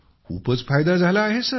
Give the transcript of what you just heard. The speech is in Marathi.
खूपच फायदा झाला आहे सर